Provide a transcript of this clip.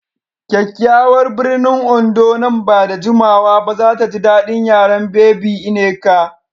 Kyakyawar birnin Ondo nan ba da jimawa ba za ta ji daɗin yaren Baby Nneka.